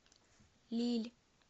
лилль